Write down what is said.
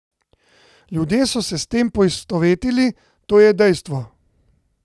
Ljudje so se s tem poistovetili, to je dejstvo.